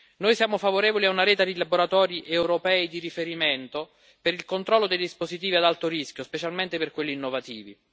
Noi siamo favorevoli a una rete di laboratori europei di riferimento per il controllo dei dispositivi ad alto rischio, specialmente per quelli innovativi.